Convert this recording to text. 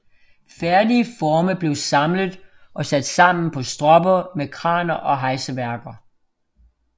Færdige forme blev samlet og sat sammen på stropper med kraner og hejseværker